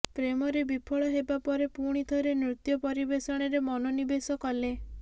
ପ୍ରେମରେ ବିଫଳ ହେବା ପରେ ପୁଣି ଥରେ ନୃତ୍ୟ ପରିବେଷଣରେ ମନୋନିବେଶ କଲେ